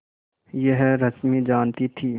यह रश्मि जानती थी